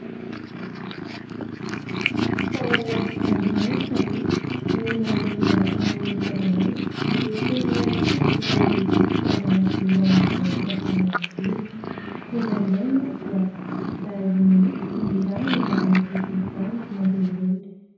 Fanaonay sy zandrinay taloha ny mandeha miaraka amin'ny dadanay rehefa ilay izy handeha hividy fitaovana ilainy any am-piasany iny. Indraindray moa dia izahay mihitsy no irahiny mandeha mividy izany mandeha irery.